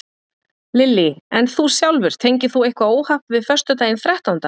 Lillý: En þú sjálfur, tengir þú eitthvað óhapp við föstudaginn þrettánda?